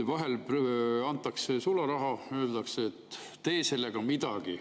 Vahel antakse sularaha, öeldakse, et tee sellega midagi.